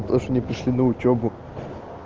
тоже не пришли на учёбу